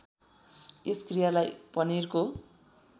यस क्रियालाई पनिरको